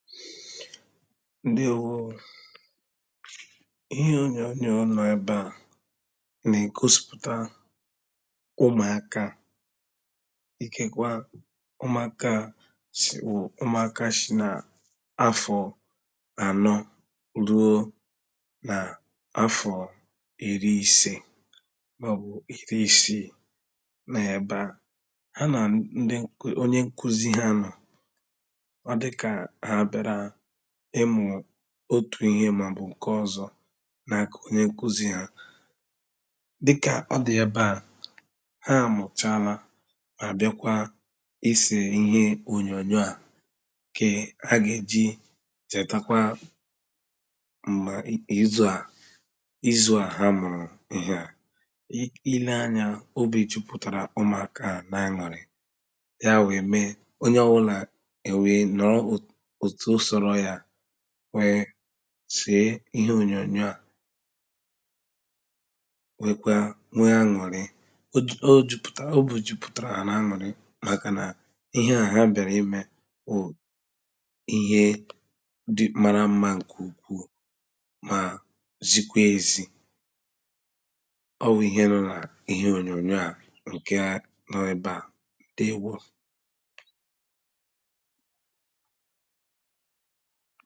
Ǹdeēwoō ō Ihe ònyònyò à nọ̀ ebe à nà ègosìpùta ụmụ̀aka ikekwa ụmụ̀aka s.. wụ ụmụ̀aka shi nà afọ ànọ rùō nà afọ̀ iri ìse mà ọ bụ̀ iri isii nọ̀ ebe à hà nà ǹdị ǹk.. onye nkuzi hà nọ̀ ọ dị̀kà hà bị̀ārā ịmụ̀ otù ihe mà o bụ̀ ǹkè ọzọ̄ nà aka onye ǹkuzi hà dikà o dị̀ ebe à hà amùchala, hà bịakwa isè ihe ònyònyò à ǹkè hà gà e jì chètekwa m̀gbè ì.. izù à izù à hà mụ̀rụ̀ ihe à I.. i leē anya, obì jùpùtàrà ụmụ̀aka à n’ an̄ùri Yà weē meē onye ọ wùlà è weē nọ̀lụ òtù sòro yà weē sèē ihe ònyònyò à nwekwa nweē an̄ùrị o ju.. jupùtà.. obì jupùtàr̀a hà n’ an̄ùri màkà nà ihe à hà bị̀āra I mèē wù Ihe dị.. mara mma ǹkè ukwuū mà zikwe ezi Ọ wụ̀ ihe nọ̀ n’ ihe ònyònyò à ǹkè nọ̀ ebe à ǹdeēwo